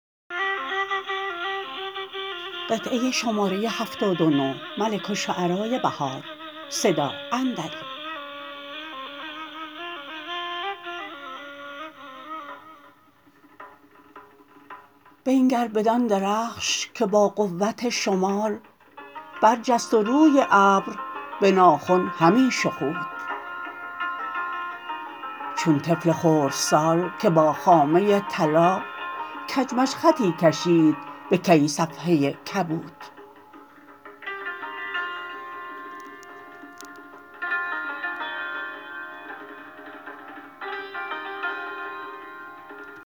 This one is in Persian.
بنگر بدان درخش که با قوت شمال برجست و روی ابر به ناخن همی شخود چون طفل خردسال که با خامه طلا کج مج خطی کشد بهکی صفحه کبود